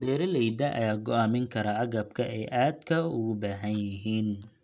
Beeralayda ayaa go'aamin kara agabka ay aadka ugu baahan yihiin.